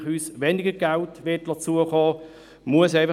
Auch weil der NFA uns weniger Geld zukommen lassen wird.